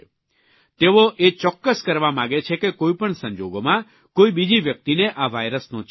તેઓ એ ચોક્કસ કરવા માગે છે કે કોઇપણ સંજોગોમાં કોઇ બીજી વ્યક્તિને આ વાયરસનો ચેપ ન લાગે